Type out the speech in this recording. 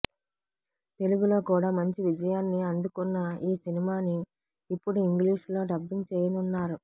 తెలుగులో కూడా మంచి విజయాన్ని అందుకున్న ఈ సినిమాని ఇప్పుడు ఇంగ్లీష్ లో డబ్బింగ్ చేయనున్నారు